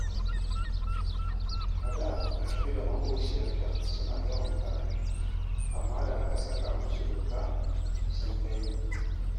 A da Rabi da maƙociyarta suna yawan faɗa, amma da aka saka musu doka, sun daina